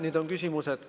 Nüüd on küsimused.